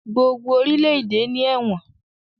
gbogbo orílẹ-èdè ní Ẹ̀wọ̀n